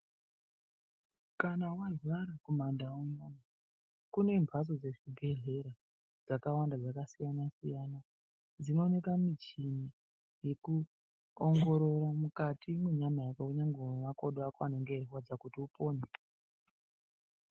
Kama wararwa kumaNdau unonu kune mbatso dzechibhedhlera dzakawanda dzakasiyana-siyana dzinooneka michini yekuongorora mukati mwenyama yako kunyangwe mwemakodo ako anenge eyirwadza kuti upone.